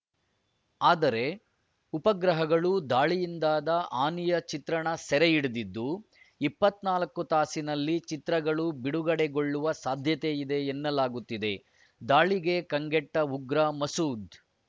ಆದರೆ ಉಪಗ್ರಹಗಳು ದಾಳಿಯಿಂದಾದ ಹಾನಿಯ ಚಿತ್ರಣ ಸೆರೆ ಹಿಡಿದಿದ್ದು ಇಪ್ಪತ್ತ್ ನಾಲ್ಕು ತಾಸಿನಲ್ಲಿ ಚಿತ್ರಗಳು ಬಿಡುಗಡೆಗೊಳ್ಳುವ ಸಾಧ್ಯತೆ ಇದೆ ಎನ್ನಲಾಗುತ್ತಿದೆ ದಾಳಿಗೆ ಕಂಗೆಟ್ಟ ಉಗ್ರ ಮಸೂದ್‌